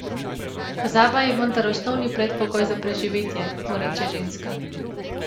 Pozaba je vendar osnovni predpogoj za preživetje, mu reče Ženska.